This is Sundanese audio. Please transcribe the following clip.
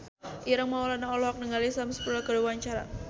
Ireng Maulana olohok ningali Sam Spruell keur diwawancara